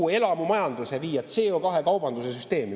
Kogu elamumajandus tuleb viia CO2-kaubanduse süsteemi.